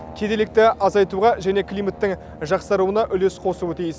кедейлікті азайтуға және климаттың жақсаруына үлес қосуы тиіс